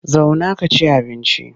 Zauna ka ci abinci!